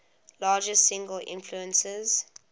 largest single influences